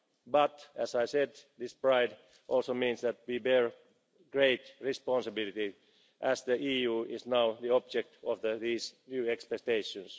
But, as I said, that pride also means we bear great responsibility, as the EU is now the object of these new expectations.